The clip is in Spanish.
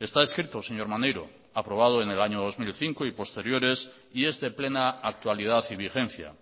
está escrito señor maneiro aprobado en el año dos mil cinco y posteriores y es de plena actualidad y vigencia